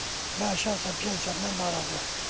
Mən şəxsən pensiyamdan narazıyam.